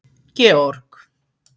Georg